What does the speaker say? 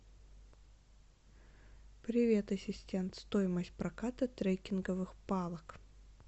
привет ассистент стоимость проката треккинговых палок